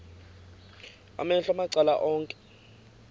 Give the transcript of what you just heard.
amehlo macala onke